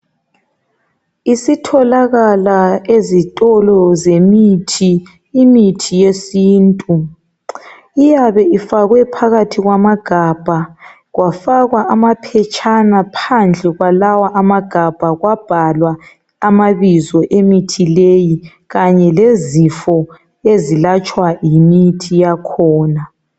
Isitholakala ezitolo zemithi imithi yesintu iyabe ifakwe phakathi kwamagabha kwafakwa amaphetshana phandle kwalawa amagabha kwabhalwa amabizo emithi leyi kanye lezifo ezilatshwa yimithi yakhona